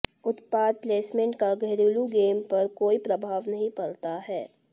उत्पाद प्लेसमेंट का घरेलू गेम पर कोई प्रभाव नहीं पड़ता है